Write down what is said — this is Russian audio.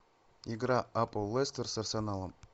игра апл лестер с арсеналом